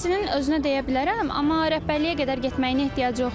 İşçinin özünə deyə bilərəm, amma rəhbərliyə qədər getməyinə ehtiyac yoxdur.